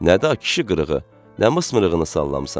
Nədir, ay kişi qırığı, nə masqırığını sallamısan?